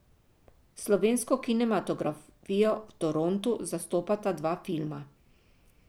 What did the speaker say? Slovensko kinematografijo v Torontu zastopata dva filma.